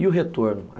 E o retorno?